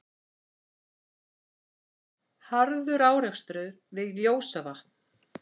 Harður árekstur við Ljósavatn